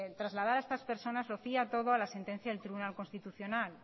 trasladar a estas personas lo fía todo a la sentencia del tribunal constitucional